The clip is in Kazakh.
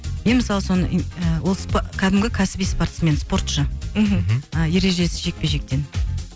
мен мысалы соны кәдімгі кәсіби спортсмен спортшы мхм ы ережесіз жекпе жектен